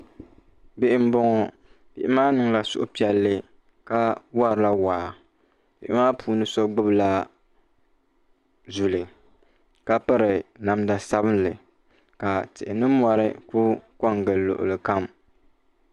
bihi m-bɔŋɔ bihi maa niŋla suhipiɛlli ka warila waa bihi maa puuni so gbula zuli ka piri namda sabinli ka tihi ni mɔri ku ko n-gili luɣili kam